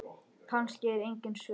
Kannski eru engin svör.